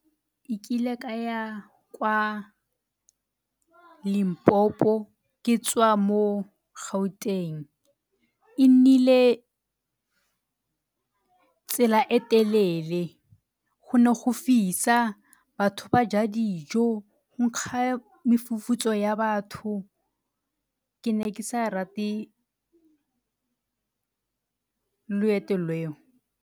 E kile ka ya kwa Limpopo ke tswa mo Gauteng. E nnile tsela e telele, go ne go fisa, batho ba ja dijo, go nkga mefufutso ya batho. Ke ne ke sa rate loeto leo.